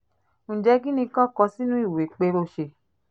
ǹjẹ́ kín ni kí wọ́n kọ sínú ìwé ẹ̀ pé ó ṣe